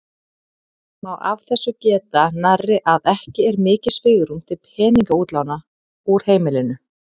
Má af þessu geta nærri að ekki er mikið svigrúm til peningaútláta úr heimilinu.